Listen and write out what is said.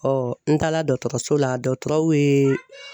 n taara dɔtɔrɔso la, dɔtɔrɔw yeee